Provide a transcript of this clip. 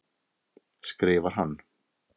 skrifar hann.